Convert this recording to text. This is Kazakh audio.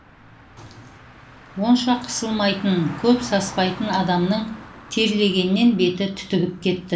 онша қысылмайтын көп саспайтын адамның терлегеннен беті түтігіп кетті